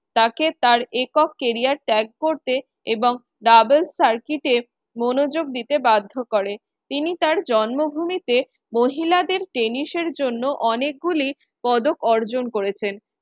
তাকে তার একক career tag করতে এবং double circuit এ মনোযোগ দিতে বাধ্য করে। তিনি তার জন্ম ভূমিতে মহিলাদের টেনিসের জন্য অনেকে গুলি পদক অর্জন করেছেন।